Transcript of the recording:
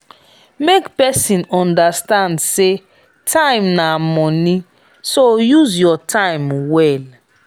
make persin understand say time na money so use your time well